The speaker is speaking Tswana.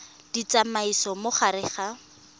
di tsamaisa mo gare ga